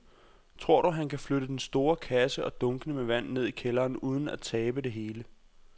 Tror du, at han kan flytte den store kasse og dunkene med vand ned i kælderen uden at tabe det hele?